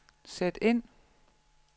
sæt ind